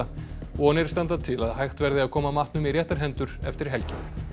vonir standa til að hægt verði að koma matnum í réttar hendur eftir helgi